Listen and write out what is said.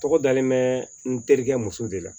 Tɔgɔ dalen bɛ n terikɛ muso de la